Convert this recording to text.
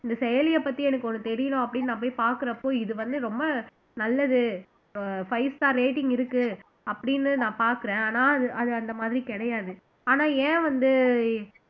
இந்த செயலியை பத்தி எனக்கு ஒண்ணு தெரியணும் அப்படின்னு நான் போய் பார்க்கிறப்போ இது வந்து ரொம்ப நல்லது அஹ் five star rating இருக்கு அப்படின்னு நான் பார்க்கிறேன் ஆனா அது அந்த மாதிரி கிடையாது ஆனா ஏன் வந்து